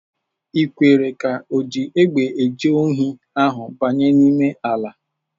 I kwere ka oji egbe eje ohi ahụ banye n'ime ala!